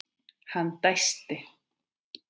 Hann dæsti.